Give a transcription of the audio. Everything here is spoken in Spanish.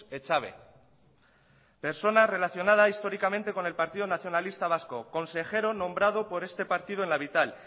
echave persona relacionada históricamente con el partido nacionalista vasco consejero nombrado por este partido en la vital